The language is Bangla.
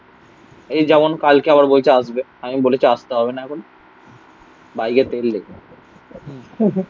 এই যেমন কালকে আবার বলছে আসবে. আমি বলেছি আসতে হবে না এখন. বাইকে তেল নেই